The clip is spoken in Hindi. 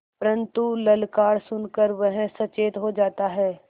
परन्तु ललकार सुन कर वह सचेत हो जाता है